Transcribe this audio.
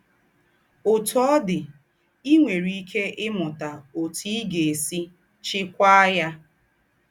Ọ́tù ọ̀ dị̀, í nwérè íkè ímútà ótù í gá-ésì chíkwàá ya.